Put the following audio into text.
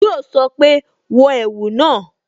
Yo sọ pé "wọ ẹ̀wù náà"